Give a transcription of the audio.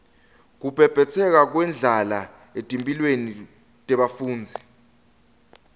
kubhebhetseka kwendlala etimphilweni tebafundzi